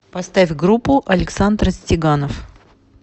поставь группу александр стеганов